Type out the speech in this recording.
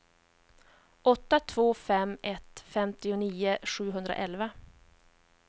åtta två fem ett femtionio sjuhundraelva